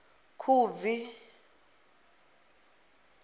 khubvi